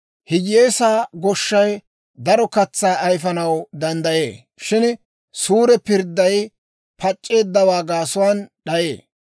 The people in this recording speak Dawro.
Hiyyeesaa goshshay daro katsaa ayifanaw danddayee; shin suure pirdday pac'c'eeddawaa gaasuwaan d'ayee.